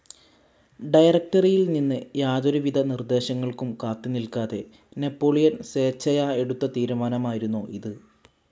ഡയറക്ടറിയിൽ നിന്ന് യാതൊരു വിധ നിർദ്ദേശങ്ങൾക്കും കാത്ത് നിൽക്കാതെ നാപ്പോളിയൻ സ്വേച്ഛയാ എടുത്ത തീരുമാനമായിരുന്നു ഇത്.